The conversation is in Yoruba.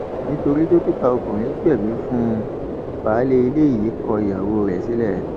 nítorí dókítà ọkùnrin gbẹbí fún un baálé ilé yìí kọ ìyàwó rẹ sílẹ